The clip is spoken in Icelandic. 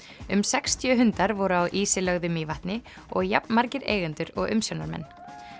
um sextíu hundar voru á ísi lögðu Mývatni og jafnmargir eigendur og umsjónarmenn